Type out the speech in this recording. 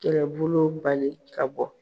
Kɛlɛbolo bali ka bɔ.